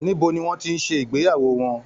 Níbo ni wọ́n ti ń ṣe ìgbéyàwó wọn?